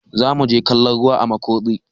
zamu je kallon ruwa a Makurdi